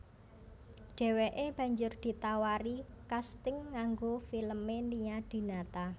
Dheweke banjur ditawari kasting kanggo filme Nia Dinata